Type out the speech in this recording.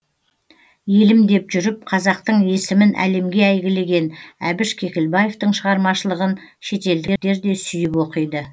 елім деп жүріп қазақтың есімін әлемге әйгілеген әбіш кекілбаевтың шығармашылығын шетелдіктер де сүйіп оқиды